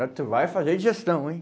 Agora tu vai fazer digestão, hein?